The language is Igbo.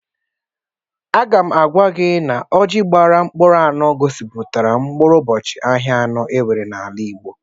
Aga m agwa ya na ọjị gbara mkpụrụ anụ gosipụtara mkpụrụ ụbọchị ahịa anọ enwere n'ala Igbo.